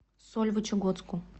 сольвычегодску